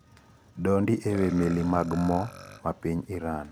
Dondi ewii meli mag mo mapiny Iran.